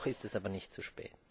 Noch ist es aber nicht zu spät.